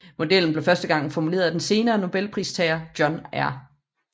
Modellen blev første gang formuleret af den senere Nobelpristager John R